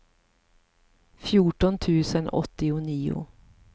fjorton tusen åttionio